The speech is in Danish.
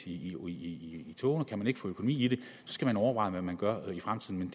i togene kan man ikke få økonomi i det skal man overveje hvad man gør i fremtiden